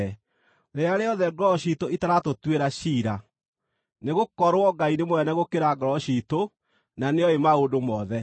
rĩrĩa rĩothe ngoro ciitũ itaratũtuĩra ciira. Nĩgũkorwo Ngai nĩ mũnene gũkĩra ngoro ciitũ, na nĩoĩ maũndũ mothe.